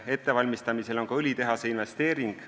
Ettevalmistamisel on ka õlitehase investeering.